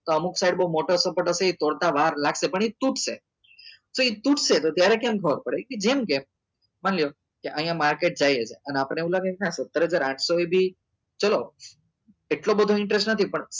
તો અમુક side બઉ મોટો support હશે એ તોડતા વાર લાગશે પણ એ તૂટશે તો એ તૂટશે તો એ ત્યારે કેમ ખબર પડે કે જેમ કે માની લો કે અહિયાં market જાય છે અને આપણને એવું લાગે કે નાં સત્તર હજાર આંત્સો એ બી ચલો એટલો બધો interest નથી